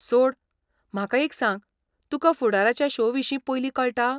सोड, म्हाका एक सांग तुका फुडाराच्या शो विशीं पयलीं कळटा?